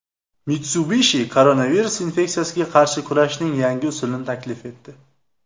Mitsubishi koronavirus infeksiyasiga qarshi kurashning yangi usulini taklif etdi.